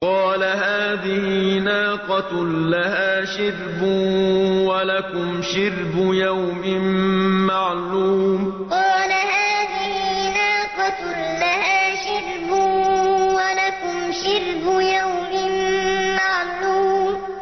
قَالَ هَٰذِهِ نَاقَةٌ لَّهَا شِرْبٌ وَلَكُمْ شِرْبُ يَوْمٍ مَّعْلُومٍ قَالَ هَٰذِهِ نَاقَةٌ لَّهَا شِرْبٌ وَلَكُمْ شِرْبُ يَوْمٍ مَّعْلُومٍ